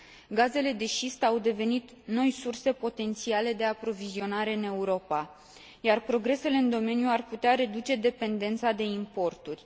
Gazele de șist au devenit noi surse potențiale de aprovizionare în Europa, iar progresele în domeniu ar putea reduce dependența de importuri.